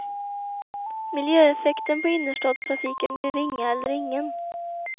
Miljöeffekten på innerstadstrafiken blir ringa eller ingen.